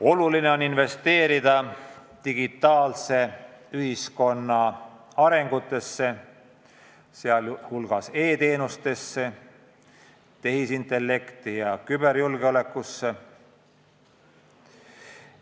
Oluline on investeerida digitaalse ühiskonna arengusse, sh e-teenustesse, tehisintellekti ja küberjulgeolekusse.